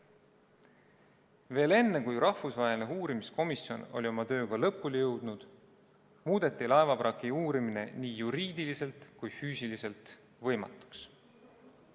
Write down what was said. Veel enne, kui rahvusvaheline uurimiskomisjon oli oma tööga lõpule jõudnud, muudeti laevavraki uurimine nii juriidiliselt kui ka füüsiliselt võimatuks.